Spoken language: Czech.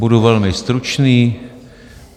Budu velmi stručný.